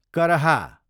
करहा